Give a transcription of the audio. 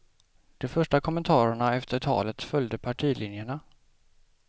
De första kommentarerna efter talet följde partilinjerna.